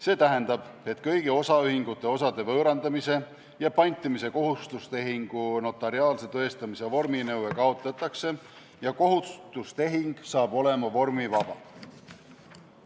See tähendab, et kõigi osaühingute osade võõrandamise ja pantimise kohustustehingu notariaalse tõestamise vorminõue kaotatakse ja kohustustehing hakkab olema vormivaba.